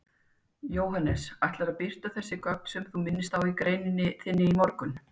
Jóhannes: Ætlarðu að birta þessi gögn sem þú minnist á í greininni þinni í morgun?